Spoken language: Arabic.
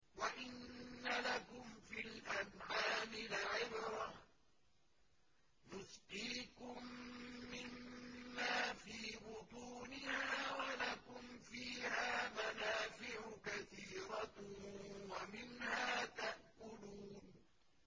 وَإِنَّ لَكُمْ فِي الْأَنْعَامِ لَعِبْرَةً ۖ نُّسْقِيكُم مِّمَّا فِي بُطُونِهَا وَلَكُمْ فِيهَا مَنَافِعُ كَثِيرَةٌ وَمِنْهَا تَأْكُلُونَ